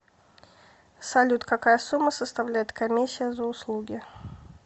салют какая сумма составляет комиссия за услуги